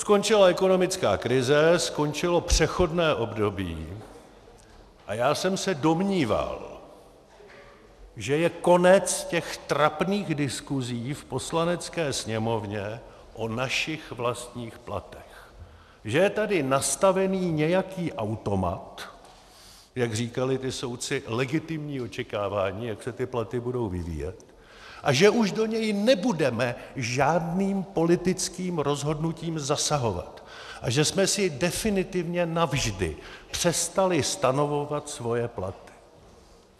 Skončila ekonomická krize, skončilo přechodné období a já jsem se domníval, že je konec těch trapných diskusí v Poslanecké sněmovně o našich vlastních platech, že je tady nastavený nějaký automat, jak říkali ti soudci, legitimní očekávání, jak se ty platy budou vyvíjet, a že už do něj nebudeme žádným politickým rozhodnutím zasahovat a že jsme si definitivně navždy přestali stanovovat svoje platy.